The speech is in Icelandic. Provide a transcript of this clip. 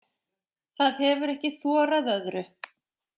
Það hefir ekki þorað öðru.